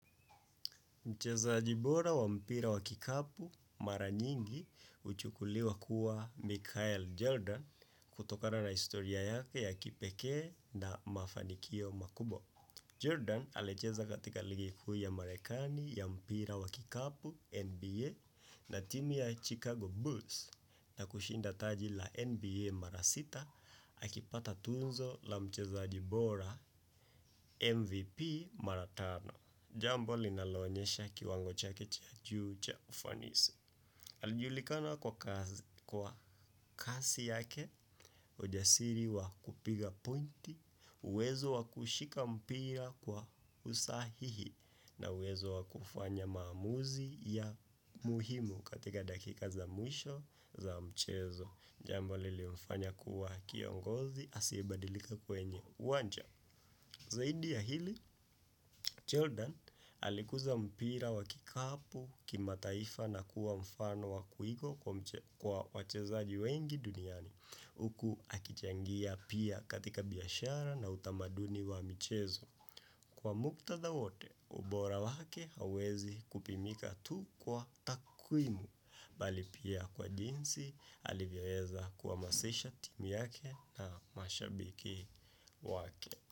Mchezaji bora wa mpira wa kikapu mara nyingi uchukuliwa kuwa Mikael Jordan kutokana na historia yake ya kipekee na mafanikio makubwa. Jordan alecheza katika ligi kuu ya marekani ya mpira wa kikapu NBA na timu ya Chicago Bulls na kushinda taji la NBA mara sita akipata tunzo la mchezaaji bora MVP mara tano. Jambo linaloonyesha kiwango chake cha juu cha ufanisi. Alijulikana kwa kasi yake, ujasiri wa kupiga pointi, uwezo wa kushika mpira kwa usahihi, na uwezo wa kufanya maamuzi ya muhimu katika dakika za mwisho za mchezo. Jambo lilimfanya kuwa kiongozi, asiyebadilika kwenye uwanja. Zaidi ya hili, Jordan alikuza mpira wa kikapu kimataifa na kuwa mfano wa kuigwa kwa wachezaji wengi duniani. Uku akichangia pia katika biashara na utamaduni wa mchezo. Kwa muktatha wote, ubora wake hauwezi kupimika tu kwa takwimu. Bali pia kwa jinsi alivyoeza kuamasisha timu yake na mashabiki wake.